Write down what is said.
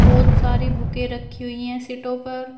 बहोत सारी बुके रखी हुई है सीटों पर।